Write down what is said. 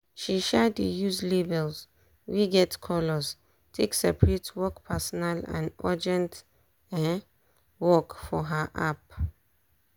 she um dey use labels wey get colors take separate work personal and urgent um work for her app.